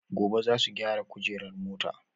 Gobe zasu gyara kujerar mota